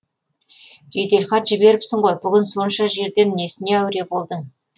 жеделхат жіберіпсің ғой бүгін сонша жерден несіне әуре болдың